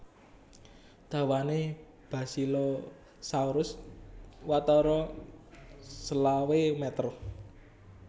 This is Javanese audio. Dawané Basilosaurus watara selawe meter